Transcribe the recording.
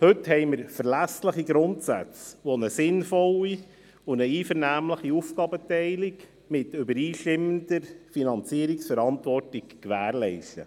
Heute haben wir verlässliche Grundsätze, die eine sinnvolle und einvernehmliche Aufgabenteilung mit übereinstimmender Finanzierungsverantwortung gewährleisten.